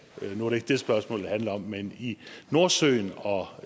nu ikke det spørgsmålet handler om men i nordsøen og